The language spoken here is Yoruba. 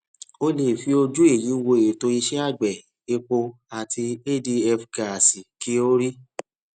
o le è fi ojú èyí wo ètò iṣẹ àgbẹ epo àti adf gáásì kí o rí